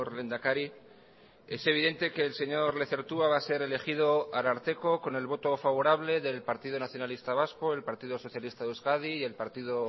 lehendakari es evidente que el señor lezertua va a ser elegido ararteko con el voto favorable del partido nacionalista vasco el partido socialista de euskadi y el partido